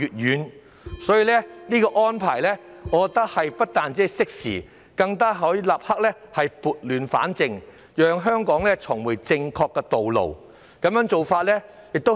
因此，我認為有關安排不但適時，更可以立刻撥亂反正，讓香港重回正確的道路。